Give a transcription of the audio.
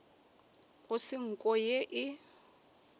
go se nko ye e